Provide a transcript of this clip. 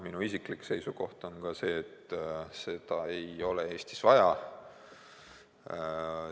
Minu isiklik seisukoht on, et seda ei ole Eestis vaja.